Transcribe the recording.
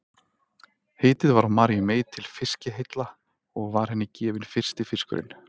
Heitið var á Maríu mey til fiskiheilla og var henni gefinn fyrsti fiskurinn.